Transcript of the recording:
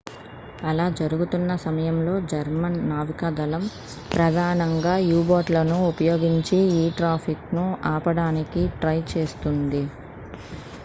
అలా జరుగుతున్న సమయంలో జర్మన్ నావికాదళం ప్రధానంగా u-బోట్లను ఉపయోగించి ఈ ట్రాఫిక్‌ను ఆపడానికి ట్రై చేస్తోంది